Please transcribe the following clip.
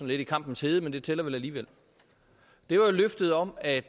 lidt i kampens hede men det tæller vel alligevel det var jo løftet om at